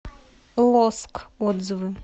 лоск отзывы